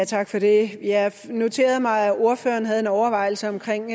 tak for det jeg noterede mig at ordføreren havde en overvejelse omkring